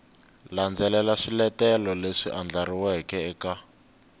landzelela swiletelo leswi andlariweke eka